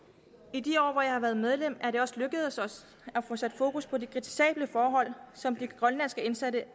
i de år hvor jeg har været medlem er det også lykkedes os at få sat fokus på de kritisable forhold som de grønlandske indsatte